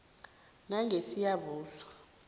langesiyabuswa